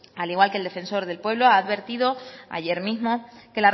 al igual que el defensor del pueblo ha advertido ayer mismo que